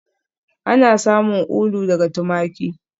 Ana samun ulu daga tumaki